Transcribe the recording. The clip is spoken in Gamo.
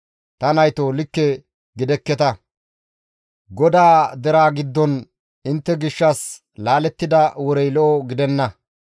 Ta naytoo likke gidekketa; GODAA deraa giddon intte gishshas laalettida worey lo7o gidenna.